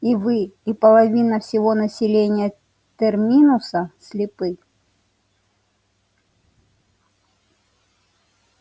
и вы и половина всего населения терминуса слепы